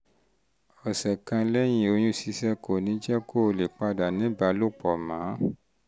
ọ̀sẹ̀ kan lẹ́yìn oyún ṣíṣẹ́ kò ní jẹ́ kó o lè padà ní ìbálòpọ̀ mọ́